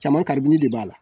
Caman karibini de b'a la